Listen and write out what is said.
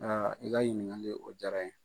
i ka ɲininkali o jara n ye.